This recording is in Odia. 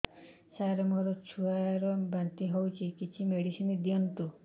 ସାର ମୋର ଛୁଆ ର ବାନ୍ତି ହଉଚି କିଛି ମେଡିସିନ ଦିଅନ୍ତୁ